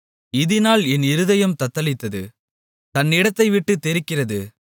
இதினால் என் இருதயம் தத்தளித்து தன்னிடத்தைவிட்டுத் தெறிக்கிறது